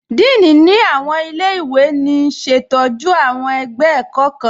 Dííní ni awọn ilẹ̀-iwe ní ṣetọju awọn ẹgbẹ ẹ̀kọ̀ kan.